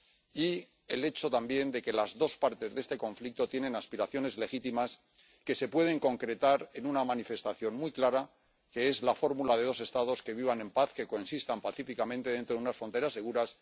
y se señalaba también el hecho de que las dos partes de este conflicto tienen aspiraciones legítimas que se pueden concretar en una manifestación muy clara, que es la fórmula de dos Estados que vivan en paz, que coexistan pacíficamente dentro de unas fronteras seguras.